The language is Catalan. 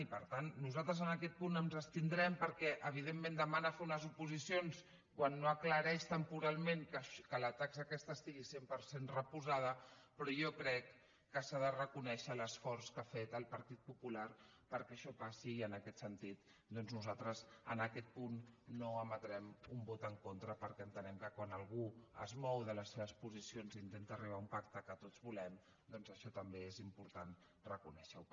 i per tant nosaltres en aquest punt ens abstindrem perquè evidentment demana fer unes oposicions quan no aclareix temporalment que la taxa aquesta estigui cent per cent reposada però jo crec que s’ha de reconèixer l’esforç que ha fet el partit popular perquè això passi i en aquest sentit doncs nosaltres en aquest punt no emetrem un vot en contra perquè entenem que quan algú es mou de les seves posicions i intenta arribar a un pacte que tots volem doncs això també és important reconèixer ho